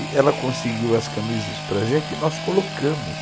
E ela conseguiu as camisas para a gente e nós colocamos.